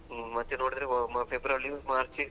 ಹ್ಮ್ ಮತ್ತೆ ನೋಡಿದ್ರೆ February March,